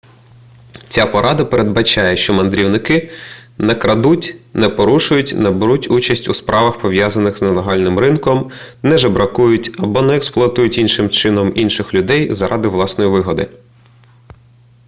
ця порада передбачає що мандрівники не крадуть не порушують не беруть участі у справах пов'язаних з нелегальним ринком не жебракують або не експлуатують іншим чином інших людей заради власної вигоди